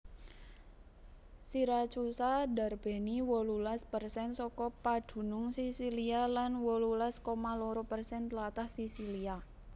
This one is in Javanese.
Siracusa ndarbèni wolulas persen saka padunung Sisilia lan wolulas koma loro persen tlatah Sisilia